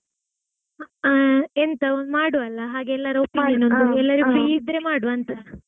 ಆ ಎಂತಾ ಹಾ ಒಂದ್ ಮಾಡುವಾ ಅಲ್ಲಾ ಹಾ ಹಾ ಎಲ್ಲರ opinion ಒಂದ್ ಎಲ್ಲಾರೂ free ಇದ್ರೆ ಮಾಡುವಾ ಅಂತಾ?